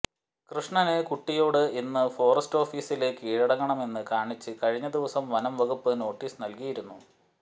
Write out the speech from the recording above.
കൃഷ്ണന് കുട്ടിയോട് ഇന്ന് ഫോറസ്റ്റ് ഓഫീസില് കീഴടങ്ങണമെന്ന് കാണിച്ച് കഴിഞ്ഞ ദിവസം വനം വകുപ്പ് നോട്ടീസ് നല്കിയിരുന്നു